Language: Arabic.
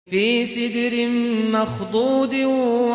فِي سِدْرٍ مَّخْضُودٍ